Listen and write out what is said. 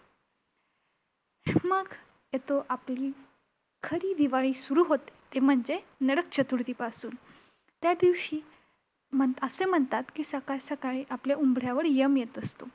मग येतो आपली खरी दिवाळी सुरु होते ती म्हणजे नरक चतुर्थीपासून. त्यादिवशी म्हण~असे म्हणतात की सकाळी सकाळी आपल्या उंबऱ्यावर यम येत असतो.